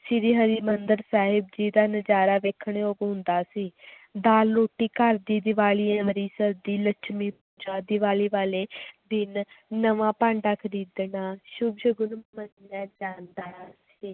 ਸ੍ਰੀ ਹਰਿਮੰਦਰ ਸਾਹਿਬ ਜੀ ਦਾ ਨਜ਼ਾਰਾ ਵੇਖਣ ਯੋਗ ਹੁੰਦਾ ਸੀ ਦਾਲ ਰੋਟੀ ਘਰ ਦੀ ਦੀਵਾਲੀ ਅੰਮ੍ਰਿਤਸਰ ਦੀ, ਲੱਛਮੀ ਪੂਜਾ ਦੀਵਾਲੀ ਵਾਲੇ ਦਿਨ ਨਵਾਂਂ ਭਾਂਡਾ ਖ਼ਰੀਦਣਾ ਸੁੱਭ ਸ਼ਗਨ ਮੰਨਿਆ ਜਾਂਦਾ ਸੀ